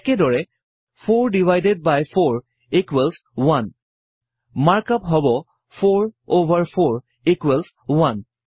একেদৰেই 4 divided by 4 equals 1 mark up হব160 4 over 4 equals 1